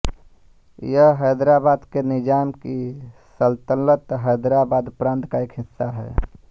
यह हैदराबाद के निज़ाम की सलतनतहैदराबाद प्रांत का एक हिस्सा था